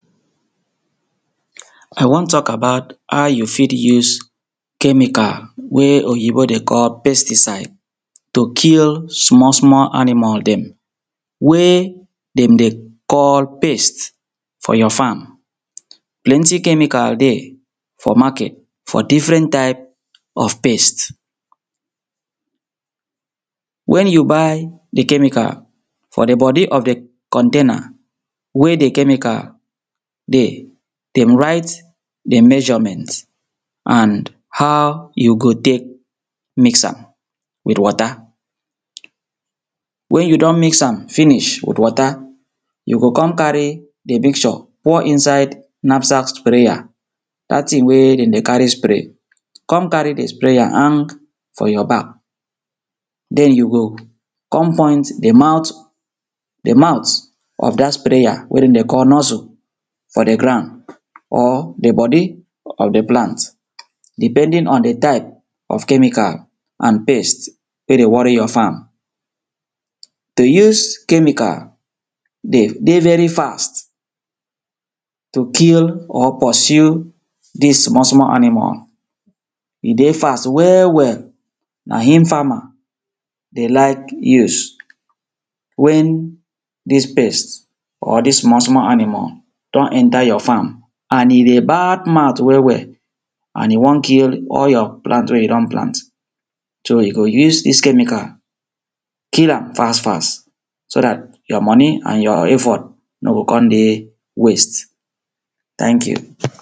I wan talk about how you fit use, chemical wey oyibo dey call pesticide, to kill small small animal dem, wey, dem dey call pest for your farm. Plenty chemical dey for market for different type of pest. Wen you buy di chemical, for di body of di container wey di chemical dey, dem write di measurement and how you go take miss am with water. Wen you don miss am finish with water, you go come carry di mixture pour inside Napsat sprayer, dat thing wey dem dey carry spray. Come carry di sprayer hang for your back, den you go come point di mouth, di mouth of dat sprayer wey dem dey call nuzzle for di ground or di body of di plant, depending on di type of chemical and pest wey dey worry your farm. To use chemical, dey dey very fast to kill or pursue dis small small aminal. E dey fast well well, na im farmer dey like use. Wen dis pest or dis small small animal don enter your farm, and e dey bad mouth well well, and e wan kill all your plant wey you don plant, so you go use dis chemical, kill am fast fast. So dat your money and your effort nor go come dey waste, thank you.